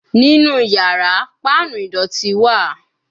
Ninu yara, panu idọti wa